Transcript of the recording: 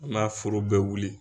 N'a foro bɛ wuli.